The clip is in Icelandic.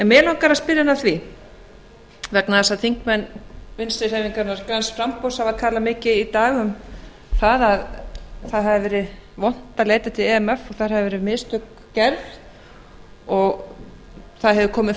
mig langar að spyrja hann að því vegna þess að þingmenn vinstri hreyfingarinnar græns framboðs hafa talað mikið í dag um að það hafi verið vont að leita til imf og það hafi verið mistök gerð og það hefur komið